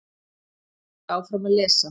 Ég hélt áfram að lesa.